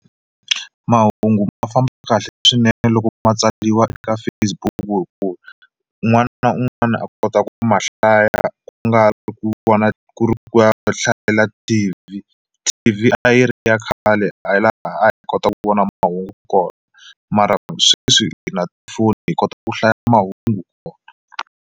Mahungu ma famba kahle swinene loko ma tsariwa eka Facebook hi ku un'wana na un'wana a kota ku mahlaya ku nga ri ku vona ku ri ku ya ku hlayela T_V, T_V a yi ri ya khale a laha a hi kota ku vona mahungu kona mara sweswi hi na tifoni hi kota ku hlaya mahungu kona.